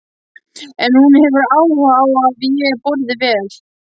En hún hefur áhuga á að ég borði vel.